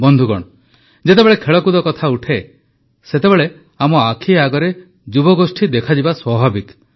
ବନ୍ଧୁଗଣ ଯେତେବେଳେ ଖେଳକୁଦ କଥା ଉଠେ ସେତେବେଳେ ଆମ ଆଖି ଆଗରେ ଯୁବଗୋଷ୍ଠୀ ଦେଖାଯିବା ସ୍ୱାଭାବିକ